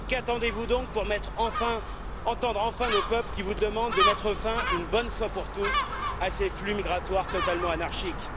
Qu'attendez vous donc pour entendre enfin nos peuples qui vous demandent de mettre fin, une bonne fois pour toutes, à ces flux migratoires totalement anarchiques?